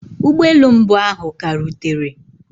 Ụgbọ elu mbụ ahụ ka rutere.